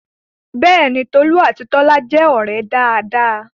Bẹ́ẹ̀ni, Tolú àti Bọ́lá jẹ́ ọ̀rẹ́ dáadáa